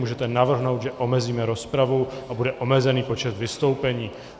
Můžete navrhnout, že omezíme rozpravu a bude omezený počet vystoupení.